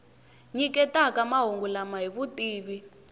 nyiketaka mahungu lama hi vutivi